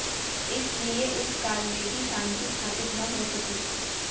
इसलिये उस काल में भी शांति स्थापित न हो सकी